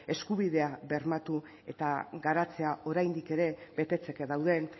eskubidea bermatu eta garatzea oraindik ere betetzeke dauden